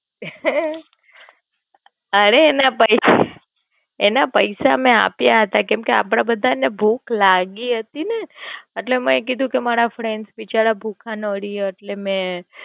અરે એના પૈસા એના પૈસા મેં આપ્યા હતા કેમ કે આપડે બધા ને ભૂખ લાગી હતી ને, એટલે મેં કીધું કે મારા Friends બિચારા ભૂખા ના રે એટલે મેં.